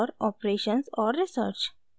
operations और research